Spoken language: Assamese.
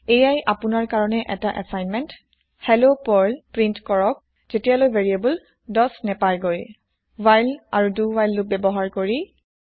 এইয়া আপোনাৰ কাৰণে এটা এচাইনমেন্ত হেল্ল পাৰ্ল প্ৰিন্ট কৰক যেতিয়ালৈ ভেৰিয়াবল ১০ নেপাইগৈ হোৱাইল আৰু দো হোৱাইল লোপ ব্যৱহাৰ কৰি